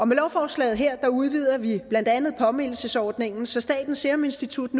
med lovforslaget her udvider vi blandt andet påmindelsesordningen så statens serum institut